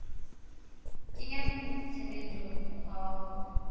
kenya tshebetsong mokgwa wa ho